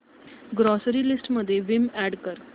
grocery list मध्ये Vim add कर